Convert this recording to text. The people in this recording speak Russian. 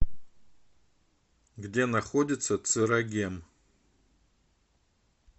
где находится церагем